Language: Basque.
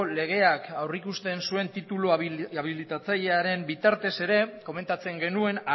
legeak aurrikusten zuen titulu abilitatzailearen bitartez ere komentatzen genuen